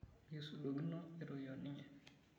Mikisudokino aitoki oninye.